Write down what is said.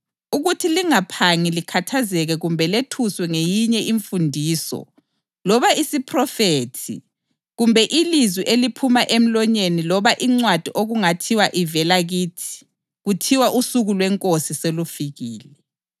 ukuthi lingaphangi likhathazeke kumbe lethuswe ngeyinye imfundiso loba isiphrofethi kumbe ilizwi eliphuma emlonyeni loba incwadi okungathiwa ivela kithi kuthiwa usuku lweNkosi selufikile.